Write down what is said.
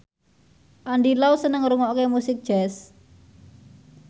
Andy Lau seneng ngrungokne musik jazz